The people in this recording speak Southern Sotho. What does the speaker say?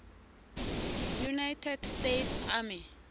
united states army